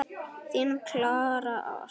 Þín Klara Ósk.